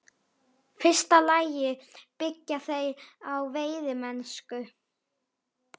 fyrsta lagi byggja þær á veiðimennsku.